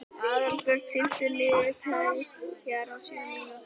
Aðalbjörg, stilltu niðurteljara á sjö mínútur.